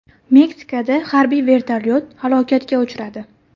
Meksikada harbiy vertolyot halokatga uchradi.